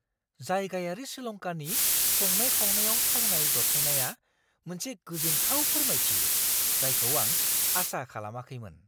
जायगायारि श्रीलंकानि संनाय खावनायाव थावनाय जथायनाया मोनसे गोजोनथाव फोरमायथि जायखौ आं आसा खालामाखैमोन।